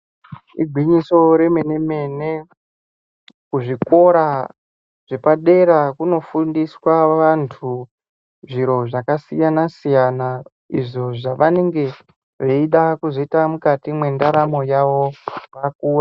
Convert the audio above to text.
Igwinyiso remene-mene kuzvikora zvepadera kunofundiswa vantu zviro zvakasiyana-siyana izvo zvavanenge veida kuzoita mukati mwendaramo yavo, vaku...